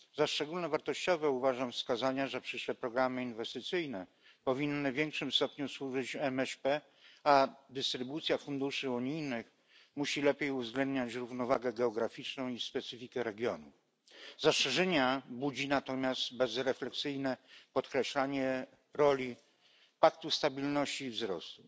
Za szczególnie wartościowe uważam wskazania, że przyszłe programy inwestycyjne powinny w większym stopniu służyć MŚP, a dystrybucja funduszy unijnych musi lepiej uwzględniać równowagę geograficzną i specyfikę regionu. Zastrzeżenia budzi natomiast bezrefleksyjne podkreślanie roli Paktu Stabilności i Wzrostu.